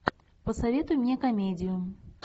посоветуй мне комедию